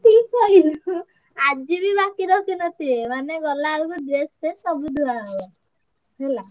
ଇରେ ଭାଇ ଆଜି ବି ବାକି ରଖି ନ ଥିବେ ମାନେ ଗଲା ବେଳକୁ dress ଫ୍ରେସ ସବୁ ଧୁଆ ହବ ହେଲା।